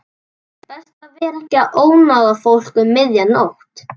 Best að vera ekki að ónáða fólk um miðja nótt.